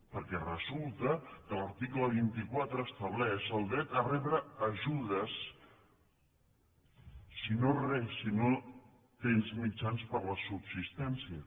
perquè resulta que l’article vint quatre estableix el dret a rebre ajudes si no tens mitjans per a la subsistència